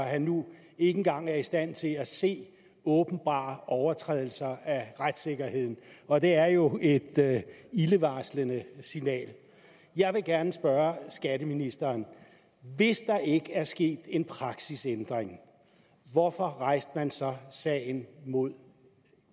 han nu ikke engang er i stand til at se åbenbare overtrædelser af retssikkerheden og det er jo et ildevarslende signal jeg vil gerne spørge skatteministeren hvis der ikke er sket en praksisændring hvorfor rejste man så sagen mod